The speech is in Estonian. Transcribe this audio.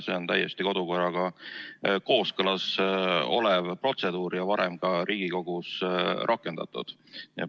See on täiesti kodukorraga kooskõlas olev protseduur, mida on varem ka Riigikogus rakendatud.